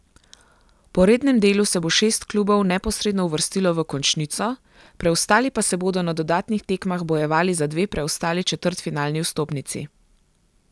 Po rednem delu se bo šest klubov neposredno uvrstilo v končnico, preostali pa se bodo na dodatnih tekmah bojevali za dve preostali četrtfinalni vstopnici.